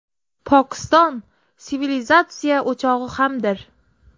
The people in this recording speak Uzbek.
Pokiston sivilizatsiya o‘chog‘i hamdir.